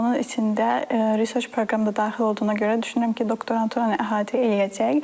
Onun içində research proqram da daxil olduğuna görə düşünürəm ki, doktoranturanı əhatə eləyəcək.